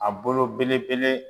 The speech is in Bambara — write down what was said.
A bolo belebele.